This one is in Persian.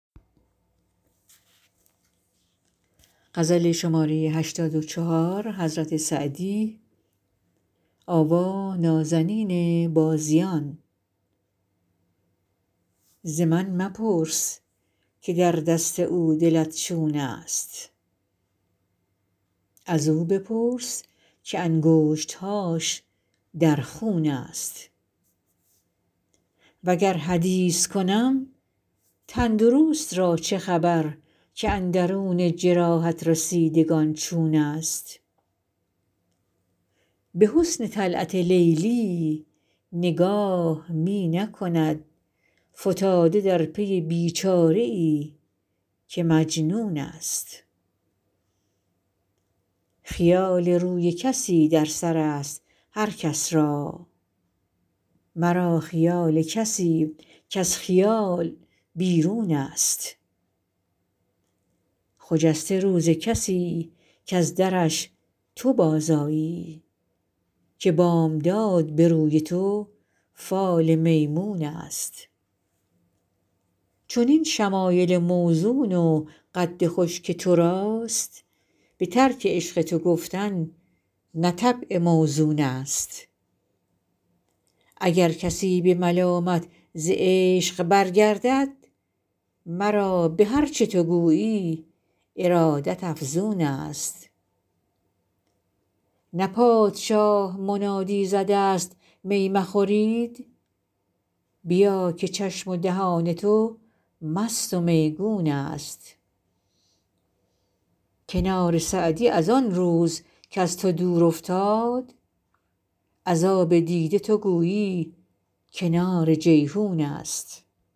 ز من مپرس که در دست او دلت چون است ازو بپرس که انگشت هاش در خون است وگر حدیث کنم تن درست را چه خبر که اندرون جراحت رسیدگان چون است به حسن طلعت لیلی نگاه می نکند فتاده در پی بی چاره ای که مجنون است خیال روی کسی در سر است هر کس را مرا خیال کسی کز خیال بیرون است خجسته روز کسی کز درش تو بازآیی که بامداد به روی تو فال میمون است چنین شمایل موزون و قد خوش که تو راست به ترک عشق تو گفتن نه طبع موزون است اگر کسی به ملامت ز عشق برگردد مرا به هر چه تو گویی ارادت افزون است نه پادشاه منادی زده است می مخورید بیا که چشم و دهان تو مست و میگون است کنار سعدی از آن روز کز تو دور افتاد از آب دیده تو گویی کنار جیحون است